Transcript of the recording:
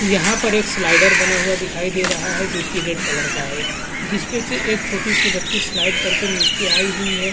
यहाँ पर एक स्लाइडर बना हुआ दिखाई दे रहा है जो कि रेड कलर का है जिस पे से एक छोटी सी बच्ची स्लाइड करके नीचे आई हुई है।